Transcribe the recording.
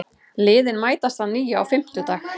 Liðin mætast að nýju á fimmtudag